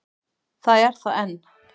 Það er það enn.